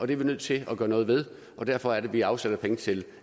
vi nødt til at gøre noget ved og derfor er det at vi afsætter penge til